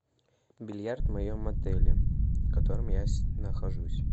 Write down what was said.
бильярд в моем отеле в котором я нахожусь